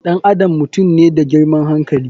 Ɗan adam mutum ne da girman hankali.